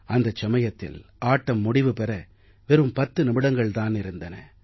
அந்த சமயத்தில் ஆட்டம் முடிவு பெற வெறும் 10 நிமிடங்கள் தான் இருந்தன